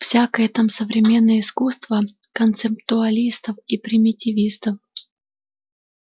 всякое там современное искусство концептуалистов и примитивистов